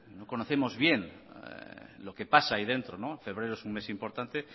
no conocemos bien lo que pasa ahí dentro febrero es un mes importante